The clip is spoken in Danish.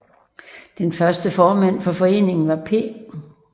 Den første formand for foreningen var P